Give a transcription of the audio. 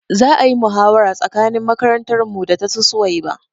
Za ayi muhawara tsakanin makarantar mu da tasu suwaiba